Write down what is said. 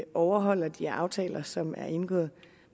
overholder de aftaler som er indgået